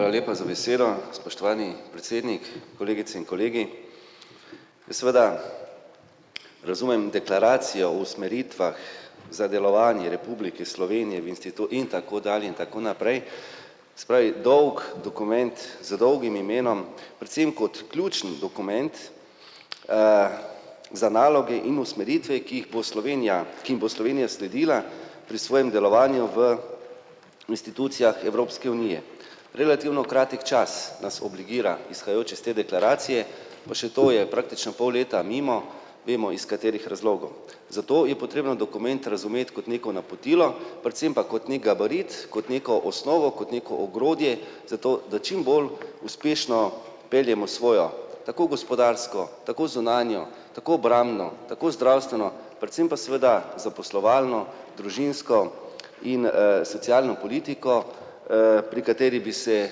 Hvala lepa za besedo. Spoštovani predsednik, kolegice in kolegi. Seveda razumem deklaracijo o usmeritvah za delovanje Republike Slovenije v in tako dalje in tako naprej. Se pravi, dolg dokument z dolgim imenom predvsem kot ključni dokument, za naloge in usmeritve, ki jih bo Slovenija, ki jim bo Slovenija sledila pri svojem delovanju v institucijah Evropske unije. Relativno kratek čas nas obligira, izhajajoče iz te deklaracije, pa še to je praktično pol leta mimo, vemo iz katerih razlogov. Zato je potrebno dokument razumeti kot neko napotilo predvsem pa kot ne gabarit, kot neko osnovo, kot nego ogrodje zato, da čimbolj uspešno peljemo svojo tako gospodarsko, tako zunanjo, tako obrambno, tako zdravstveno, predvsem pa seveda zaposlovalno, družinsko in, socialno politiko, pri kateri bi se,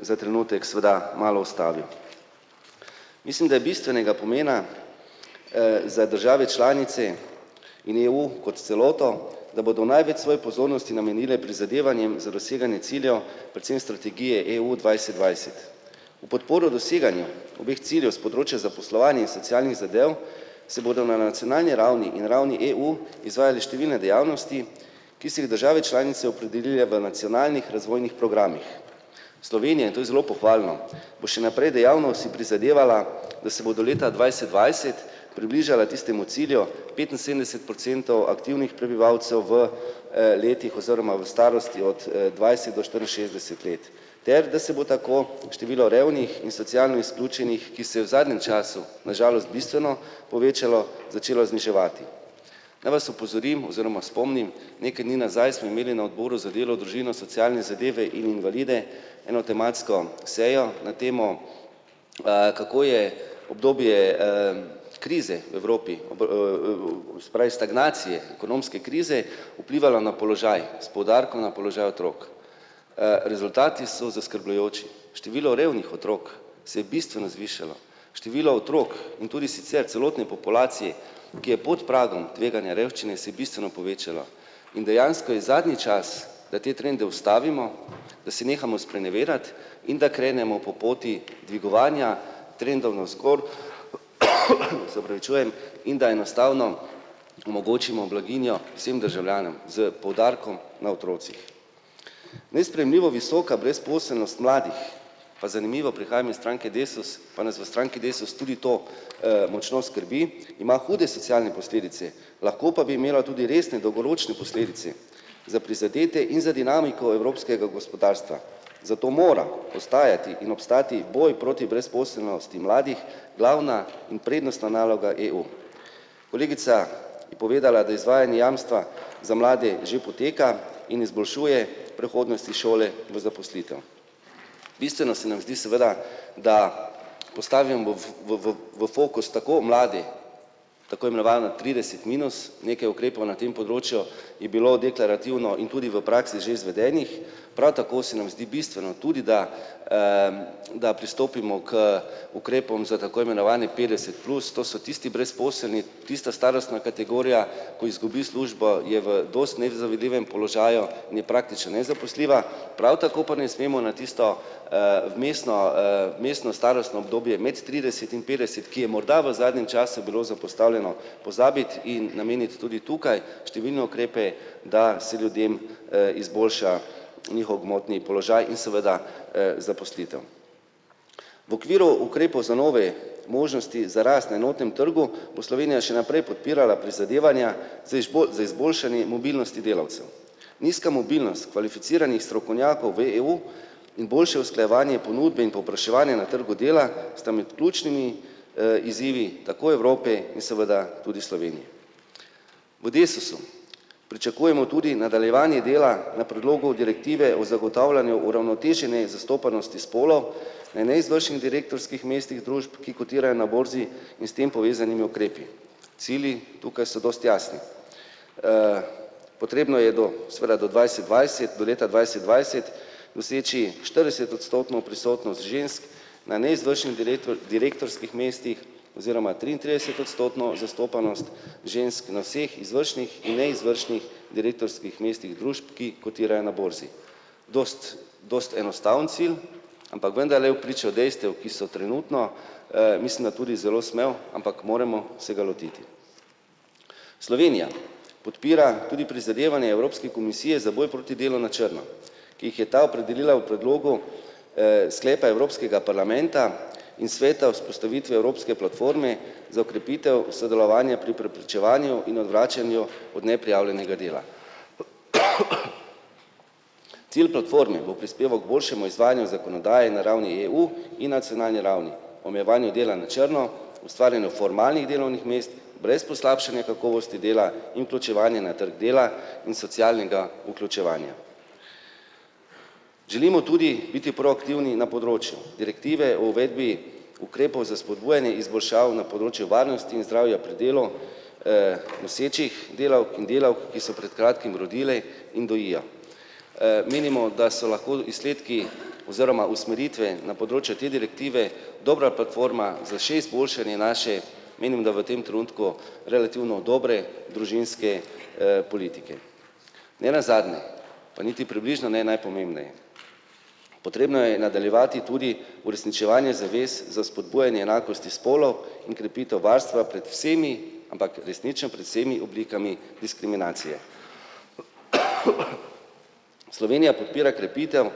za trenutek seveda malo ustavil. Mislim, da je bistvenega pomena, za države članice in EU kot celoto, da bodo največ svoje pozornosti namenile prizadevanjem za doseganje ciljev, predvsem strategije EU dvajset dvajset. V podporo doseganju obeh ciljev s področja zaposlovanja in socialnih zadev se bodo na nacionalni ravni in ravni EU izvajale številne dejavnosti, ki so jih države članice opredelile v nacionalnih razvojnih programih. Slovenija, in to je zelo pohvalno, bo še naprej dejavno si prizadevala, da se bo do leta dvajset dvajset približala tistemu cilju petinsedemdeset procentov aktivnih prebivalcev v, letih oziroma v starosti od, dvajset do štiriinšestdeset let ter da se bo tako število revnih in socialno izključenih, ki se v zadnjem času na žalost bistveno povečalo, začelo zniževati. Naj vas opozorim oziroma spomnim, nekaj dni nazaj smo imeli na odboru za delo, družino, socialne zadeve in invalide eno tematsko sejo na temo, kako je obdobje, krize v Evropi se pravi stagnacije, ekonomske krize, vplivalo na položaj s poudarkom na položaj otrok. Rezultati so zaskrbljujoči. Število revnih otrok se je bistveno zvišalo. število otrok in tudi sicer celotne populacije, ki je pod pragom revščine, si je bistveno povečalo tveganja, in dejansko je zadnji čas, da te trende ustavimo, da se nehamo sprenevedati in da krenemo po poti dvigovanja trendov navzgor. Se opravičujem. In da enostavno omogočimo blaginjo vsem državljanom s poudarkom na otrocih. Nesprejemljivo visoka brezposelnost mladih, pa zanimivo prihajam iz stranke Desus, pa nas v stranki Desus tudi to, močno skrbi, ima hude socialne posledice, lahko pa bi imelo tudi resne dolgoročne posledice za prizadete in za dinamiko evropskega gospodarstva, zato mora postajati in obstati boj proti brezposelnosti mladih glavna in prednostna naloga EU. Kolegica je povedala, da izvajanje jamstva za mlade že poteka in izboljšuje prehodnosti šole do zaposlitev. Bistveno se nam zdi seveda, da postavim v fokus tako mlade, tako imenovane trideset minus, nekaj ukrepov na tem področju je bilo deklarativno in tudi v praksi že izvedenih, prav tako se nam zdi bistveno tudi, da, da pristopimo k ukrepom za tako imenovani petdeset plus, to so tisti brezposelni, tista starostna kategorija, ko izgubi službo, je v dosti nezavidljivem položaju in je praktično nezaposljiva, prav tako pa ne smemo na tisto, vmesno, vmesno starostno obdobje med trideset in petdeset, ki je morda v zadnjem času bilo zapostavljeno, pozabiti in nameniti tudi tukaj številne ukrepe, da se ljudem, izboljša njihov gmotni položaj in seveda, zaposlitev. V okviru ukrepov za nove možnosti za rast na enotnem trgu bo Slovenija še naprej podpirala prizadevanja z za izboljšanje mobilnosti delavcev. Nizka mobilnost kvalificiranih strokovnjakov v EU in boljše usklajevanju ponudbe in povpraševanja na trgu dela sta med ključnimi, izzivi tako Evrope in seveda tudi Slovenije. V Desusu pričakujemo tudi nadaljevanje dela na predlogu direktive o zagotavljanju uravnotežene zastopanosti spolov na neizvršnih direktorskih mestih družb, ki kotirajo na borzi, in s tem povezanimi ukrepi. Cilji tukaj so dosti jasni. Potrebno je do seveda do dvajset dvajset do leta dvajset dvajset doseči štiridesetodstotno prisotnost žensk na neizvršnih direktorskih mestih oziroma triintridesetodstotno zastopanost žensk na vseh izvršnih in neizvršnih direktorskih mestih družb, ki kotirajo na borzi. Dosti dosti enostaven cilj, ampak vendarle v pričo dejstev, ki so trenutno, mislim, da tudi zelo smel, ampak moramo se ga lotiti. Slovenija podpira tudi prizadevanje Evropske komisije za boj proti delu na črno, ki jih je ta opredelila v predlogu, sklepa evropskega parlamenta in sveta vzpostavitve evropske platforme za okrepitev sodelovanja pri preprečevanju in odvračanju od neprijavljenega dela. Cilj platforme bo prispeval k boljšemu izvajanju zakonodaje na ravni EU in nacionalni ravni omejevanju dela na črno, ustvarjanju formalnih delovnih mest brez poslabšanja kakovosti dela in vključevanje na trgu dela in socialnega vključevanja. Želimo tudi biti proaktivni na področju direktive o uvedbi ukrepov za spodbujanje izboljšav na področju varnosti in zdravja pri delu, nosečih delavk in delavk, ki so pred kratkim rodile in dojijo. Menimo, da so lahko izsledki oziroma usmeritve na področju te direktive dobra platforma za še izboljšanje naše, menim, da v tem trenutku relativno dobre, družinske, politike. Nenazadnje pa niti približno ne najpomembneje. Potrebno je nadaljevati tudi uresničevanje zavez za spodbujanje enakosti spolov in krepitev varstva pred vsemi, ampak resnično pred vsemi oblikami diskriminacije. Slovenija podpira krepitev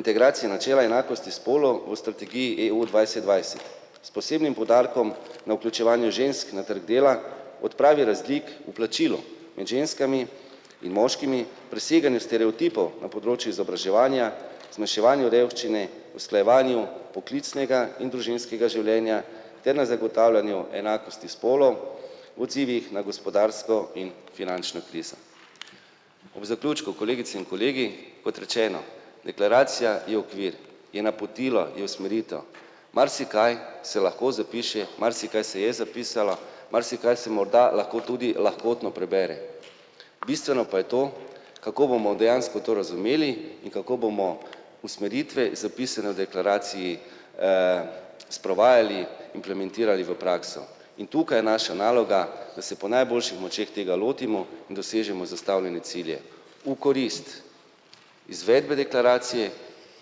integracije načela enakosti spolov v strategiji EU dvajset dvajset s posebnim poudarkom na vključevanju žensk na trg dela, odpravi razlik, plačilo med ženskami in moškimi, preseganju stereotipov na področju izobraževanja, zmanjševanju revščine, usklajevanju poklicnega in družinskega življenja ter na zagotavljanju enakosti spolov v odzivih na gospodarsko in finančno krizo. Ob zaključku, kolegice in kolegi, kot rečeno, deklaracija je okvir je napotilo, je usmeritev marsikaj se lahko zapiše, marsikaj se je zapisalo marsikaj se morda lahko tudi lahkotno prebere. Bistveno pa je to, kako bomo dejansko to razumeli in kako bomo usmeritve, zapisane v deklaraciji, sprovajali, implementirali v prakso in tukaj naša naloga, da se po najboljših močeh tega lotimo in dosežemo zastavljene cilje v korist izvedbe deklaracije,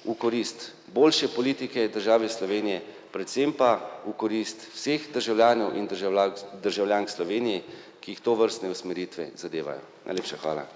v korist boljše politike države Slovenije, predvsem pa v korist vseh državljanov in državljank, državljank Slovenije, ki jih tovrstne usmeritve zadevajo. Najlepša hvala.